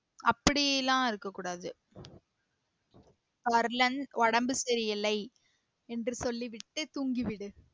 அப்படியெல்லாம் இருக்க கூடாது வரலன்னு உடம்பு சரி இல்லை என்று சொல்லிவிட்டு தூங்கிவிடு